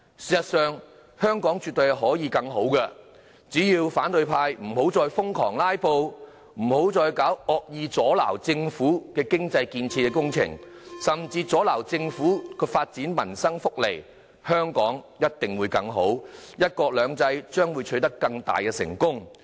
事實上，香港絕對可以更好，只要反對派不要再瘋狂"拉布"，不要再惡意阻撓政府的經濟建設工程，甚至阻撓政府發放民生福利，香港一定會更好，"一國兩制"將會取得更大的成功。